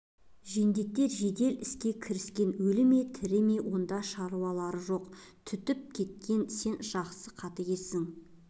жендеттер жедел іске кіріскен өлі ме тірі ме онда шаруалары жоқ түтігіп кеткен сен жақсы қатыгезсің